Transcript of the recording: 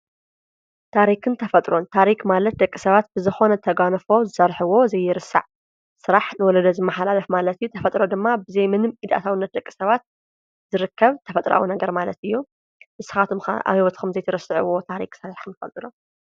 ታሪክን ተፈጥሮን፡- ታሪኽ ማለት ደቂ ሰባት ብዝኾነ ተጓንፎ ዝሰርሕዎ ዘይርሳዕ ስራሕ ንወለዶ ዝመሓላለፍ ማለት እዩ፡፡ ተፈጥሮ ድማ ብዘይ ምንም ኢድ ኣኣታውነት ደቂ ሰባት ዝርከብ ተፈጥራዊ ነገር ማለት እዩ፡፡ ንስኻቶምካ ኣብይ ቦታ ኸም ዘይትርስዕዎ ታሪኽ ን ተፈጥሮን ኣለኩም ዶ?